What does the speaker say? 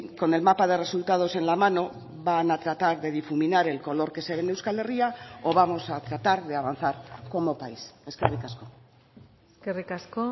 con el mapa de resultados en la mano van a tratar de difuminar el color que se ve en euskal herria o vamos a tratar de avanzar como país eskerrik asko eskerrik asko